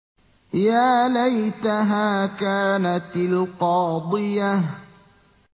يَا لَيْتَهَا كَانَتِ الْقَاضِيَةَ